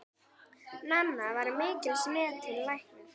Nanna var mikils metinn læknir.